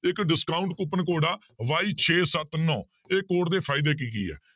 ਇੱਕ discount coupon ਤੁਹਾਡਾ y ਛੇ ਸੱਤ ਨੋਂ ਇਹ code ਦੇ ਫ਼ਾਇਦੇ ਕੀ ਕੀ ਆ?